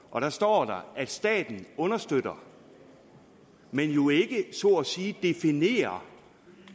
og der står at staten understøtter men jo ikke så at sige definerer